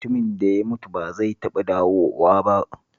Mutumin da ya mutu ba zai taɓa dawowa ba